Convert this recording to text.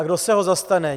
A kdo se ho zastane?